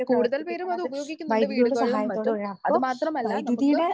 കൂടുതൽ പേരും അത് ഉപയോഗിക്കുന്നുണ്ട് വീടുകളിലും മറ്റും. അതുമാത്രമല്ല നമുക്ക്